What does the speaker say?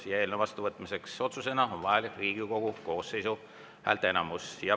Eelnõu otsusena vastuvõtmiseks on vajalik Riigikogu koosseisu häälteenamus.